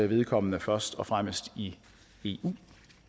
vedkommende først og fremmest i i eu